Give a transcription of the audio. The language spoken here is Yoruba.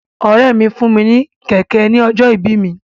Ọ̀rẹ́ mi fún mi ní kẹ̀kẹ́ ní ọjọ́ ìbí mi.